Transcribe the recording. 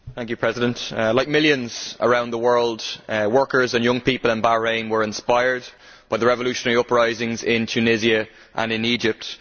Mr President, like millions around the world, workers and young people in Bahrain were inspired by the revolutionary uprisings in Tunisia and in Egypt.